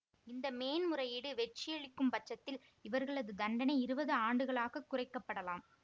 இந்த மேன்முறையீடு வெற்றியளிக்கும் பட்சத்தில் இவர்களது தண்டனை இருபது ஆண்டுகளாகக் குறைக்கப்படலாம்